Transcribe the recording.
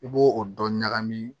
I b'o o dɔ ɲagami